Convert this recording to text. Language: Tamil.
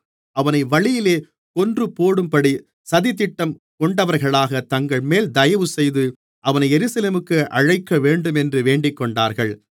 அவனை வழியிலே கொன்றுபோடும்படி சதித்திட்டம் கொண்டவர்களாக தங்கள்மேல் தயவுசெய்து அவனை எருசலேமிற்கு அழைக்கவேண்டுமென்று வேண்டிக்கொண்டார்கள்